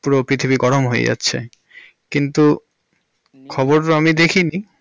পুরো পৃথিবী গরম হয়ে যাচ্ছে। কিন্তু খবর আমি দেখিনি।